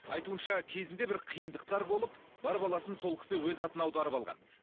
айтуынша кезінде бір қиындықтар болып бар баласын сол кісі өз атына аударып алған